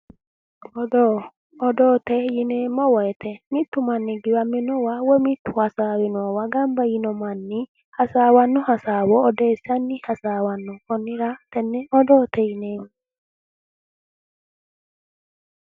Odoote yineemmo woyite mittu mannira woyi mitu hasaawiwwa ganba yiinno manni hasaawanni hasaawa odeessanni hasaawanno konnira tenne odoote yineemmo